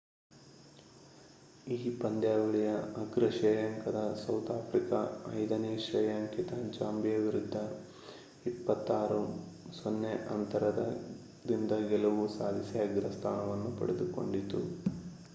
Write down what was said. ಈ ಪಂದ್ಯಾವಳಿಯ ಅಗ್ರ ಶ್ರೇಯಾಂಕದ ಸೌತ್ ಆಫ್ರಿಕಾ 5ನೇ ಶ್ರೇಯಾಂಕಿತ ಜಾಂಬಿಯಾ ವಿರುದ್ದ 26 -00 ಅಂತರದಿಂದ ಗೆಲುವು ಸಾಧಿಸಿ ಅಗ್ರಸ್ಥಾನವನ್ನು ಪಡೆದುಕೊಂಡಿತು